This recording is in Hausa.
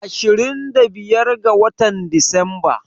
Ashirin da biyar ga watan Disamba.